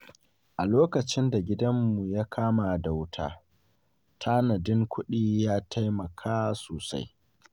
A lokacin da gidanmu ya kama da wuta, tanadin kudi ya taimaka sosai.